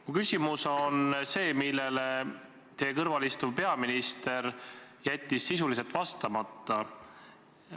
Mu küsimus on see, millele teie kõrval istuv peaminister jättis sisuliselt vastamata.